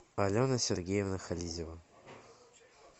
алена сергеевна хализева